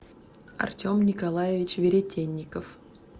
артем николаевич веретенников